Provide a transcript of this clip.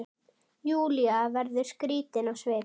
Júlía verður skrítin á svip.